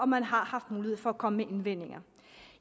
man har haft mulighed for at komme med indvendinger